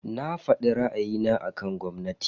Na fadi ra'ayina akan gwamnati.